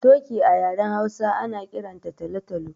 Toki a yaren Hausa ana kiran ta talo-talo.